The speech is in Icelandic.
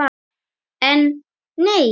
En, nei.